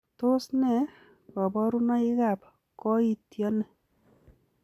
Tos nee koborunoikab koitityoni?